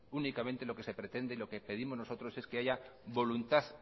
únicamente lo que se pretende y lo que pedimos nosotros es que haya voluntad